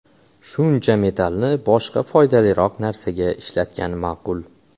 Shuncha metallni boshqa foydaliroq narsaga ishlatgan ma’qul.